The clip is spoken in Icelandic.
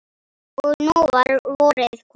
Og nú var vorið komið.